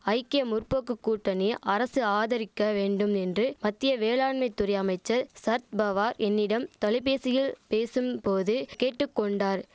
ஐக்கிய முற்போக்கு கூட்டணி அரசு ஆதரிக்க வேண்டும் என்று மத்திய வேளாண்மை துறை அமைச்சர் சர்த்பவா என்னிடம் தொலைபேசியில் பேசும் போது கேட்டு கொண்டார்